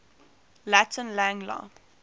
latin lang la